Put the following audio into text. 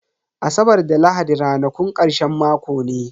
Asabar da lahadi ranakun karshen mako ne.